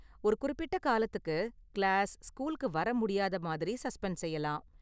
ஒரு குறிப்பிட்ட காலத்துக்கு கிளாஸ், ஸ்கூல்க்கு வர்ற முடியாத மாதிரி சஸ்பெண்ட் செய்யலாம்.